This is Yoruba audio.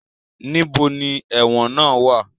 Níbo ni ẹ̀wọ̀n náà wá à?